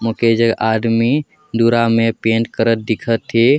मोके एजक आदमी दूरा में पेंट करत दिखत हे।